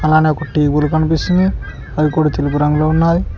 పైన కనిపిస్తున్నాయ్ అవి కూడా తెలుపు రంగులో ఉన్నాయి.